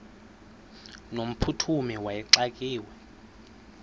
no mphuthumi wayexakiwe